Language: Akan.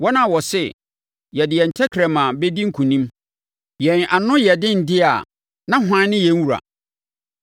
wɔn a wɔse, “Yɛde yɛn tɛkrɛma bɛdi nkonim; yɛn ano yɛ yɛn dea, na hwan ne yɛn wura?”